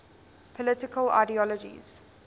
political ideologies